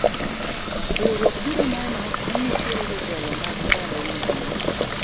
riwruok biro neno ni nitiere jotelo mag ndalo mabiro